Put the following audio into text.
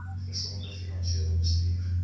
gesonde finansiële bestuur